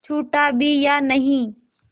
छूटा भी या नहीं